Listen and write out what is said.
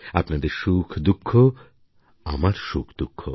আপনাদের সুখদুঃখ আমার সুখদুঃখ